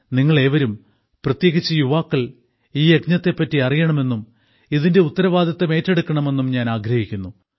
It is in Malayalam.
നിങ്ങൾ ഏവരും പ്രത്യേകിച്ച് യുവാക്കൾ ഈ യജ്ഞത്തെപ്പറ്റി അറിയണമെന്നും ഇതിന്റെ ഉത്തരവാദിത്തം ഏറ്റെടുക്കണമെന്നും ഞാൻ ആഗ്രഹിക്കുന്നു